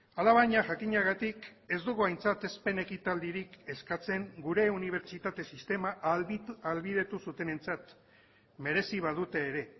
alabaina jakinagatik ez dugu aintzatespen ekitaldirik eskatzen gure unibertsitate sistema ahalbidetu zutenentzat merezi badute ere